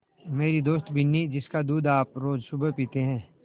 मेरी दोस्त बिन्नी जिसका दूध आप रोज़ सुबह पीते हैं